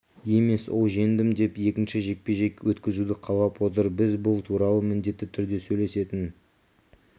емес ол жеңдім деп екінші жекпе-жек өткізуді қалап отыр біз бұл туралы міндетті түрде сөйлесетін